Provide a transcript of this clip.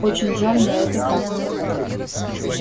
очень жаль но это так